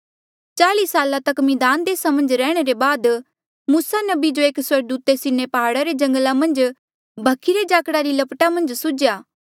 चाल्ई साल तक मिद्धान देसा मन्झ रैहणे रे बाद मूसा नबी जो एक स्वर्गदूते सीनै प्हाड़ा रे जंगला मन्झ जो भखी रे झाकड़ा री लपटा मन्झ सुझ्या